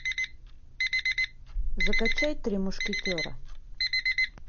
закачай три мушкетера